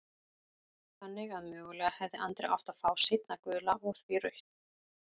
Þannig að mögulega hefði Andri átt að fá seinna gula og því rautt?